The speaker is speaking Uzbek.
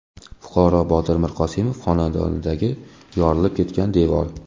Fuqaro Botir Mirqosimovning xonadonidagi yorilib ketgan devor.